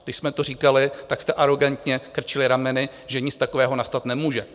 Když jsme to říkali, tak jste arogantně krčili rameny, že nic takového nastat nemůže.